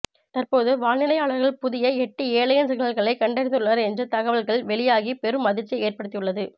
தற்பொழுது வானிலையாளர்கள் புதிய எட்டு ஏலியன் சிக்னல்களை கண்டறிந்துள்ளனர் என்று தகவல்கள் வெளியாகி பெரும் அதிர்ச்சியை ஏற்படுத்தியுள்ளது